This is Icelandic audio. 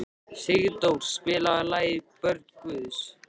Sigdór, spilaðu lagið „Börn Guðs“.